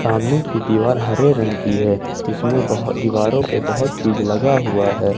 सामने की दीवार हरे रंग की है जिसमें बहुत दीवारों पे बहुत चीज लगा हुआ है।